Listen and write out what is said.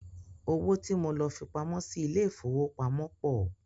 Owó tí mo lọ fipamọ́ sí ilé ìfowópamọ́ pọ̀.